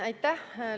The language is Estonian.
Aitäh!